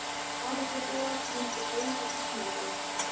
Parísarbúar sendir heim vegna snjókomu